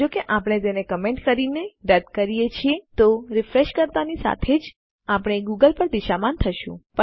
જો આપણે તેને કમેન્ટ કરીને રદ કરીએ છીએ તો રીફ્રેશ કરતાંની સાથે જ આપણે ગૂગલ પર દિશામાન થશું